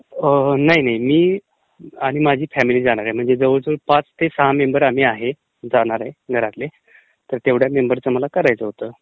नाही नाही ...मी आणि माझी फॅमिली जाणारे म्ङमजे जवळजवळ पाच ते सहा मेंम्बर आम्ही आहे जाणार घरातले तर तेवढ्या मेंम्बर्सचं मला करायचं होतं.